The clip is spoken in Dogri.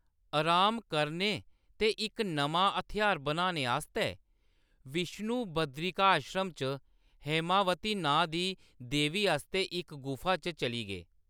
अराम करने ते इक नमां हथ्यार बनाने आस्तै , विष्णु बदरिकाश्रम च हैमावती नांऽ दी देवी आस्तै इक गुफा च चली गे।